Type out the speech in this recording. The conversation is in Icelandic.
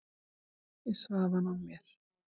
Ég svaf hann af mér.